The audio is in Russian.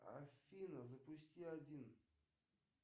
афина запусти один